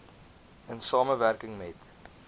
in samewerking met